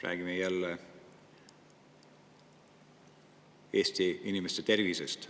Räägime jälle Eesti inimeste tervisest.